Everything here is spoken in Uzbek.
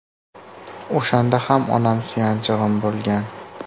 O‘shanda ham onam suyanchig‘im bo‘lgan.